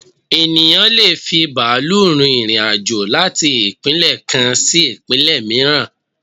Ènìyàn lé è fi bàálù rin irin-àjò láti ìpínlẹ̀ kan sí ìpínlẹ̀ mìíràn